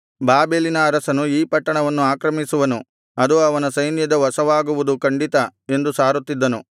ಬಾಬೆಲಿನ ಅರಸನು ಈ ಪಟ್ಟಣವನ್ನು ಆಕ್ರಮಿಸುವನು ಅದು ಅವನ ಸೈನ್ಯದ ವಶವಾಗುವುದು ಖಂಡಿತ ಎಂದು ಸಾರುತ್ತಿದ್ದನು